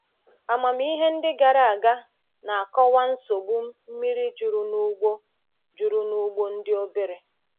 Amamihe ndị gara aga na-akọwa nsogbu mmiri juru n’ugbo juru n’ugbo ndị obere.